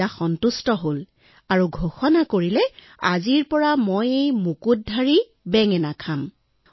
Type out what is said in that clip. ৰজা সন্তুষ্ট হল আৰু ঘোষণা কৰিলে যে আজিৰ পৰা তেওঁ এই মুকুটধাৰী বেঙেনাই খাব